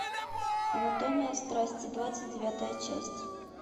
анатомия страсти двадцать девятая часть